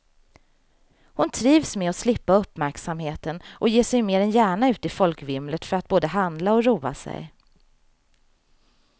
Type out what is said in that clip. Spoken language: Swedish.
Hon trivs med att slippa uppmärksamheten och ger sig mer än gärna ut i folkvimlet för att både handla och roa sig.